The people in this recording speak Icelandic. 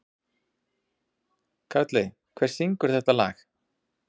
Karli, hver syngur þetta lag?